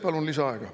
Palun lisaaega.